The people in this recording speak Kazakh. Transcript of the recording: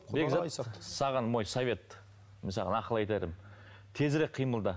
бекзат саған мой совет мен саған ақыл айтарым тезірек қимылда